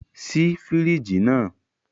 Ṣii firiji naa!